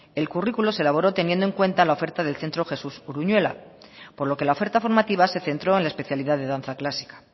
el currículo se elaboró teniendo en cuenta la oferta del centro josé uruñuela por lo que la oferta formativa se centró en la especialidad de danza clásica